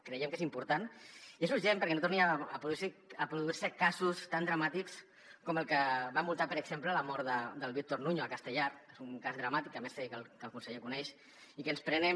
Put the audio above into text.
creiem que és important i és urgent perquè no tornin a produir se casos tan dramàtics com el que van multar per exemple amb la mort del víctor nuño a castellar que és un cas dramàtic a més sé que el conseller coneix i que ens prenem